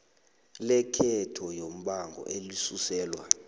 lekhotho yombango elisuselwa